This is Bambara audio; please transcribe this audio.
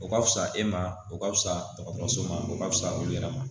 O ka fusa e ma o ka fisa dɔgɔtɔrɔso ma o ka fisa olu yɛrɛ ma